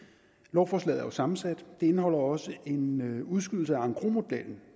lovforslaget er jo sammensat det indeholder også en udskydelse af engrosmodellen